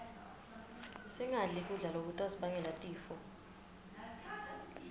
singadli kudla lokutasibangela tifo